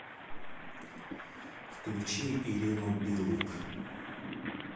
включи ирину билык